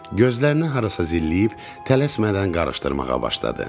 Gözlərini harasa zilləyib, tələsmədən qarışdırmağa başladı.